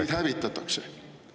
… teid hävitatakse.